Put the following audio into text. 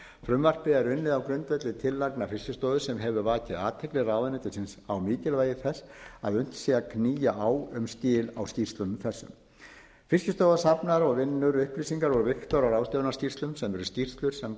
frumvarpið er unnið á grundvelli tillagna fiskistofu sem hefur vakið athygli ráðuneytisins á mikilvægi þess að unnt sé að knýja á um skil á skýrslum þessum fiskistofa safnar og vinnur upplýsingar og var og ráðsráðstöfunarskýrslum sem eru skýrslur sem